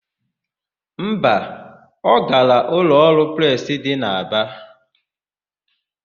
Mba, ọ gara ụlọọrụ presị dị n'Aba.